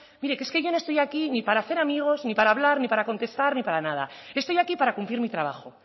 mire es que yo no estoy aquí ni para hacer amigos ni para hablar ni para contestar ni para nada estoy aquí para cumplir mi trabajo